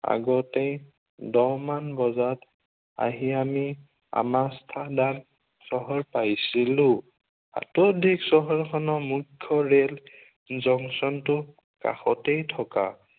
আগতেই দহ মান বজাত আহি আমি আমাষ্ঠান্ডা চহৰ পাইছিলো। তাতোধিক চহৰখনৰ মুখ্য় ৰেল জংচনটো কাষতেই থকা